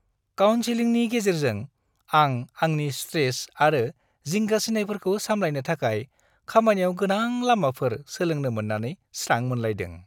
काउनसिलिंनि गेजेरजों आं आंनि स्ट्रेस आरो जिंगासिनायफोरखौ सामलायनो थाखाय खामानियाव गोनां लामाफोर सोलोंनो मोन्नानै स्रां मोनलायदों